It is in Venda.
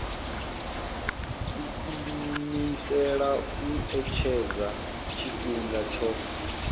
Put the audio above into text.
iimisela u etshedza tshifhinga tsho